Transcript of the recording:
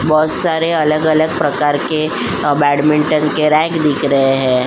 बहुत सारा अलग-अलग प्रकार के बेडमिंटन के रेग दिख रहे है।